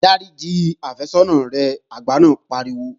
Dáríji àfẹ́sọ́nà rẹ! Alàgbà náà pariwo